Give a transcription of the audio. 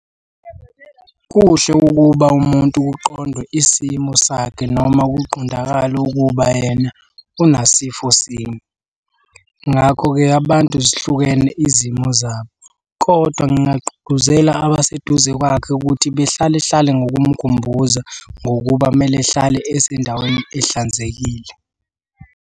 Kuhle ukuba umuntu kuqondwe isimo sakhe noma kuqondakale ukuba yena unasifo sini. Ngakho-ke abantu zihlukene izimo zabo, kodwa ngingagqugquzela abaseduze kwakhe ukuthi behlale hlale ngokumkhumbuza ngokuba kumele ehlale esendaweni ehlanzekile.